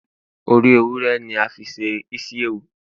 ori ewúrẹ ni a fi se isiewu